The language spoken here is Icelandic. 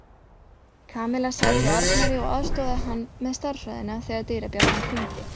Kamilla sat hjá Arnari og aðstoðaði hann með stærðfræðina þegar dyrabjallan hringdi.